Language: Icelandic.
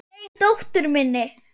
Nei, dóttur minni.